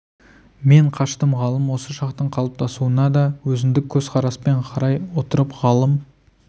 мен қаштым ғалым осы шақтың қалыптасуына да өзіндік көзқараспен қарай отырып ғалым